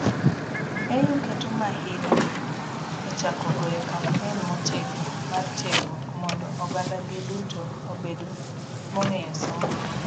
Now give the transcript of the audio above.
AU keto mahino e chako goyo campaign motegno mar tiegruok mondo ogandagi nduto obed mong'eyo somo,